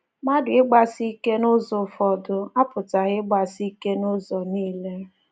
Mmadụ ịgbasi ike n’ụzọ ụfọdụ apụtaghị ịgbasi ike n’ụzọ nile.